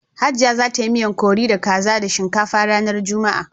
Hajiaya za ta yi miyan curri da kaza da shinkafa ranar Juma'a.